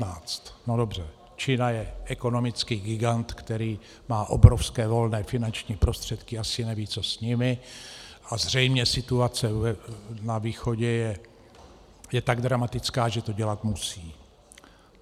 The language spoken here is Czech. No dobře, Čína je ekonomický gigant, který má obrovské volné finanční prostředky, asi neví, co s nimi, a zřejmě situace na východě je tak dramatická, že to dělat musí.